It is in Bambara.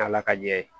Ala ka ɲɛ